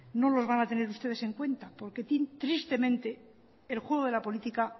no los van a tener ustedes en cuenta porque tristemente el juego de la política